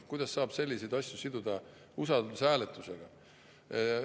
Kuidas saab selliseid asju siduda usaldushääletusega?